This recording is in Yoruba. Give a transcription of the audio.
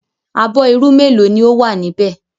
Abọ́ irú mélòó ni ó wà níbẹ̀?